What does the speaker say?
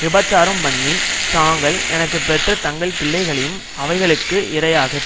விபசாரம் பண்ணி தாங்கள் எனக்கு பெற்ற தங்கள் பிள்ளைகளையும் அவைகளுக்கு இரையாகத்